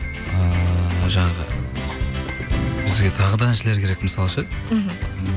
ыыы жаңағы бізге тағы да әншілер керек мысалы ше мхм